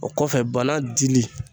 O kɔfɛ bana dili